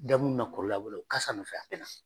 Da muunu na kɔrɔlen a b'o la u kasa nɔfɛ a tɛ na.